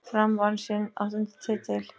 Fram vann sinn áttunda titil.